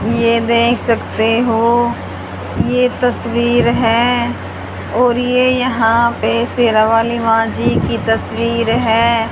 ये देख सकते हो ये तस्वीर है और ये यहां पे शेरा वाली मां जी की तस्वीर है।